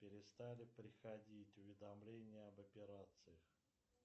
перестали приходить уведомления об операциях